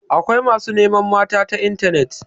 Akwai masu neman mata ta intanet.